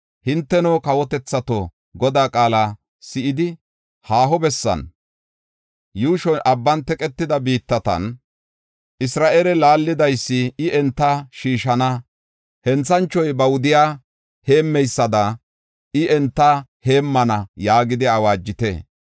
“Hinteno, kawotethato, Godaa qaala si7idi, haaho bessan, yuushoy abban teqetida biittatan, ‘Isra7eele laallidaysi I enta shiishana; henthanchoy ba wudiya heemmeysada I enta heemmana’ yaagidi awaajite.